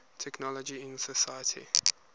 technology in society